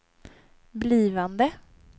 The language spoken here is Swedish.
blivande